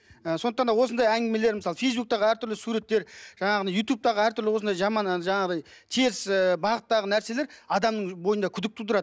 ы сондықтан да осындай әңгімелер мысалы фейсбуктағы әртүрлі суреттер жаңағындай ютубтағы әртүрлі осындай жаман әлгі жаңағыдай теріс ы бағыттағы нәрселер адамның бойында күдік тудырады